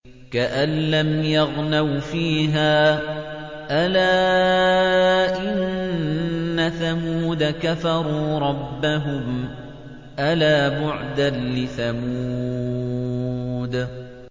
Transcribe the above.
كَأَن لَّمْ يَغْنَوْا فِيهَا ۗ أَلَا إِنَّ ثَمُودَ كَفَرُوا رَبَّهُمْ ۗ أَلَا بُعْدًا لِّثَمُودَ